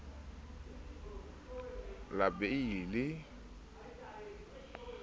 la abiele ha re sa